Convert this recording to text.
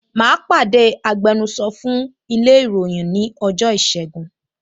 Mà á pàdé agbẹnusọ fún ilé ìròyìn ní ọjọ́ ìṣẹ́gun